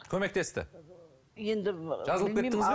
көмектесті енді жазылып кеттіңіз бе